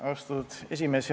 Austatud esimees!